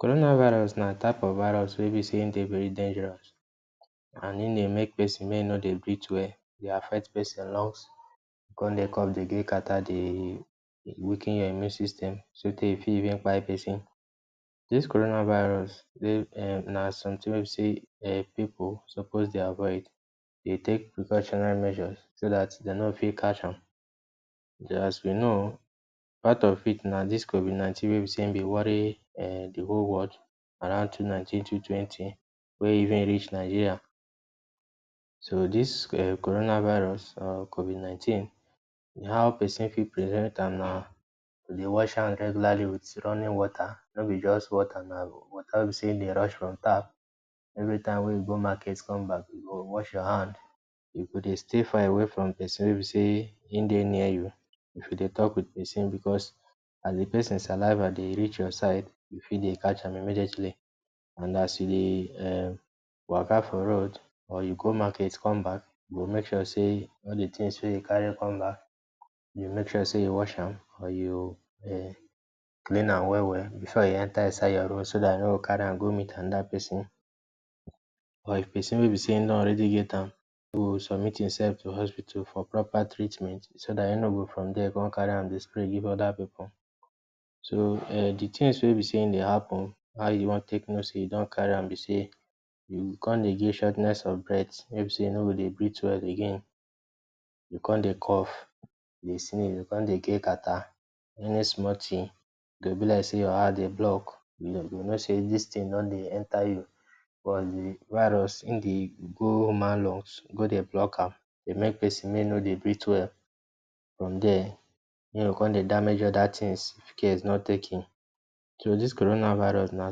Coronavirus na type of virus wey be sey e dey very dangerous and e dey make pesin make e no dey breathe well, dey affect pesin lungs, come dey cough, dey get catarrh, dey weaken your immune system so tey e fit even kpai pesin. Dis coronavirus dey um na something wey e be sey um pipu suppose dey avoid, dey take precautionary measures, so that de no go fit catch am. As we know, part of it na dis COVID-nineteen wey be sey im dey worry um de whole world around two nineteen, two twenty wey even reach Nigeria. So, dis um coronavirus or COVID-nineteen, how pesin fit prevent am na dey wash hand regularly wit running water. No be just water, na water wey be sey dey rush from tap. Every time wey you go market come back, you go wash your hand. You go dey stay far away from pesin wey e be sey im dey near you. If you dey talk wit pesin because as de pesin saliva dey reach your side, you fit dey catch am immediately. And as you dey um waka for road, or you go market come back, you go make sure sey all de things wey you carry come back, you make sure sey you wash am or you um clean am well-well before you enter inside your room so dat you no go carry am go meet another pesin. Or if pesin wey be sey e don already get am, e go submit himself to hospital for proper treatment so dat e no go from dere come carry am dey spread dey give other pipu. So um de things wey e be sey e dey happen, how you wan take know sey you don carry am be sey, you go come dey get shortness of breath wey e be sey you no go dey breathe well again. You go come dey cough, dey sneeze, come dey get catarrh. Any small thing e go be like sey your heart dey block, you know sey dis thing don dey enter you. de virus, im dey go human lungs go dey block am. Dey make pesin make e no dey breathe well, from there im go come dey damage other things, if care is not taken. So dis coronavirus na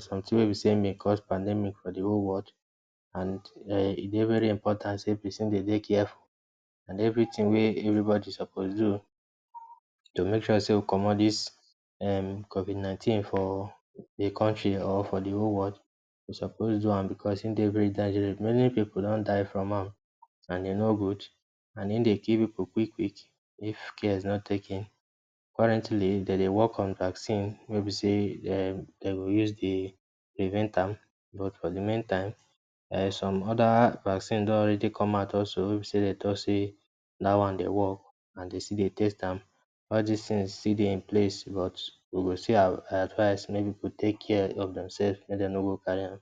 something wey be sey im been cause pandemic for de whole world and um e dey very important sey pesin dey dey careful. And everything wey everybody suppose do to make sure sey we comot dis um COVID-nineteen for de country or for the whole world, we suppose do am because im dey very dangerous. Many pipu don die from am and e no good. And im dey kill pipu quick-quick if care is not taken. Currently, dem dey work on vaccine wey e be sey um dem go use dey prevent am. But for de meantime, um some other vaccine don already come out also wey e be sey de talk say dat one dey work and de still dey test am. All these things still dey in place, but we go still advice make pipu take care of themself make dem no go carry am.